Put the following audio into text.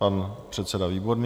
Pan předseda Výborný.